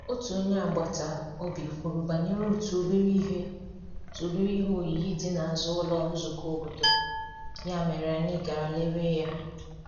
Otu onye agbata obi kwuru banyere otu obere ihe otu obere ihe oyiyi dị n’azụ ụlọ nzukọ obodo, ya mere anyị gara lere ya.